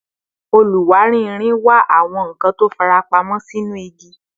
Oluwari irin wa awọn nkan ti o farapamọ sinu igi